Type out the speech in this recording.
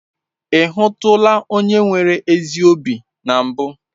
Ị hụtụla onye nwere ezi obi na mbụ?